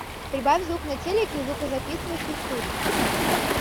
прибавь звук на телике в звукозаписывающей студии